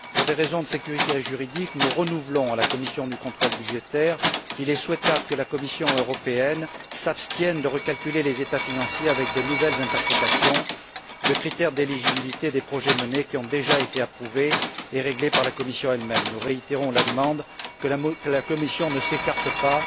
Pour des raisons de sécurité juridique, nous renouvelons auprès de la commission du contrôle budgétaire le souhait que la Commission européenne s'abstienne de recalculer les états financiers avec de nouvelles interprétations de critères d'éligibilité pour des projets menés, qui ont déjà été approuvés et réglés par la Commission elle même. Nous réitérons la demande que la Commission ne s'écarte pas